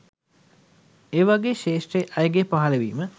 ඒ වගේ ශ්‍රේෂ්ඨ අයගේ පහළවීම